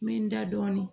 N bɛ n da dɔɔnin